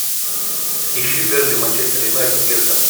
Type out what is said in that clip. ищи дерби манчестер юнайтед лестер